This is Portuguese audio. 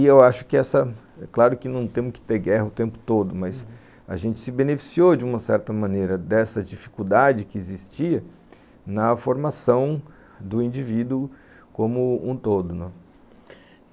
E eu acho que essa, é claro que não temos que ter guerra o tempo todo, uhum, mas a gente se beneficiou de uma certa maneira dessa dificuldade que existia na formação do indivíduo como um todo, né?